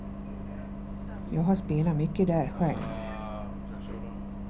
Jag har spelat mycket där själv.